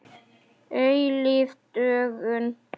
Eilíf dögun.